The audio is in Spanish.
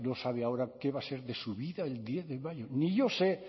ser no sabe ahora qué va a ser de su vida el diez de mayo ni yo sé